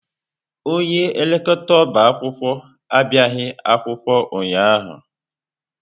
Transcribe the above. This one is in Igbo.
Onye elekọta ọbá akwụkwọ abịaghị akwụkwọ ụnyahụ.